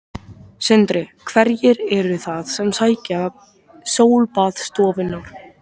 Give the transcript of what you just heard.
Sindri: Hverjir eru það sem sækja sólbaðsstofurnar?